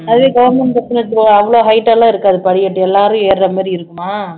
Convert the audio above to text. அதுவே government லாம் எடுத்துக்கோங்க அவ்ளோ height எல்லாம் இருக்காது படிக்கட்டு எல்லாரும் ஏறுற மாதிரி இருக்குமா